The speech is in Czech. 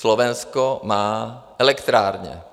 Slovensko má elektrárny.